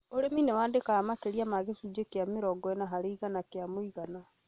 ũrĩmi nĩ wandĩkaga makĩria ma gĩcunjĩ kĩa mĩrongo ĩna harĩ igana kĩa mũigana